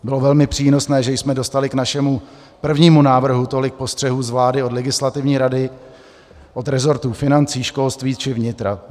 Bylo velmi přínosné, že jsme dostali k našemu prvnímu návrhu tolik postřehů z vlády, od legislativní rady, od resortů financí, školství či vnitra.